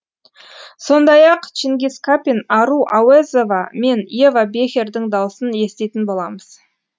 сондай ақ чингиз капин ару ауэзова мен ева бехердің даусын еститін боламыз